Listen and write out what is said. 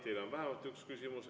Teile on vähemalt üks küsimus.